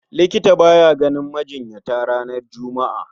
Likita baya ganin majinyata ranar Juma'a